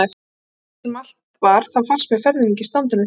En hvernig svo sem allt var þá fannst mér ferðin ekki standa neitt lengi.